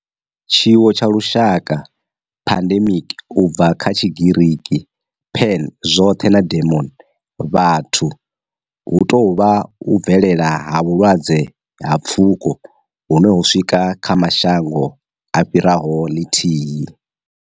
Tshiwo tsha lushaka pandemic, u bva kha Tshigiriki pan, zwothe na demos, vhathu hu tou vha u bvelela ha vhulwadze ha pfuko hune ho swika kha mashango a fhiraho lithihi.